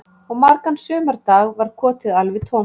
Og margan sumardag var kotið alveg tómt